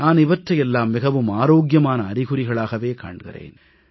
நான் இவற்றையெல்லாம் மிகவும் ஆரோக்கியமான அறிகுறிகளாகவே காண்கிறேன்